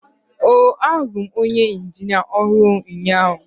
oh, ahụrụ m onye injinia ọhụrụ ụnyahụ.